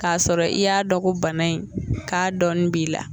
K'a sɔrɔ i y'a dɔ ko bana in k'a dɔɔni b'i la.